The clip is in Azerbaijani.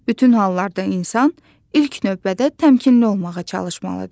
Bütün hallarda insan ilk növbədə təmkinli olmağa çalışmalıdır.